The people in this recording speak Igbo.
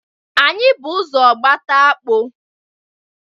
Anyị bụ ụzọ gbata akpụ.